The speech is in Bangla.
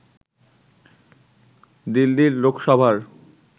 দিল্লির লোকসভার